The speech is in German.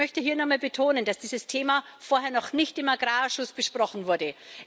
Ich möchte hier noch mal betonen, dass dieses Thema vorher noch nicht im Agrarausschuss besprochen wurde.